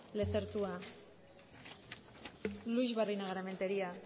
lezertua luix barinagarrementeria